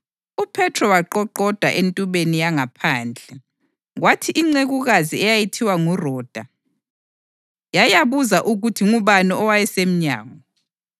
UPhethro waqoqoda entubeni yangaphandle, kwathi incekukazi eyayithiwa nguRoda yayabuza ukuthi ngubani owayesemnyango.